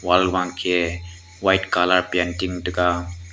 wall ban ke white colour painting taga.